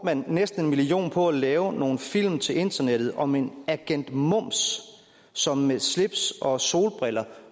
man næsten en million kroner på at lave nogle film til internettet om agent mums som med slips og solbriller